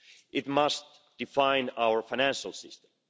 It must define our financial system.